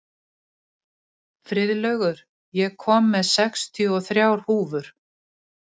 Friðlaugur, ég kom með sextíu og þrjár húfur!